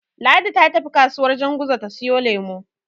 Ladi ta tafi kasuwar Janguza ta siyo lemo.